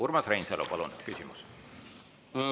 Urmas Reinsalu, palun küsimus!